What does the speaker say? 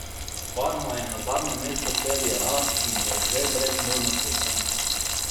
Parma je na zadnjem mestu serie A in je že brez možnosti obstanka.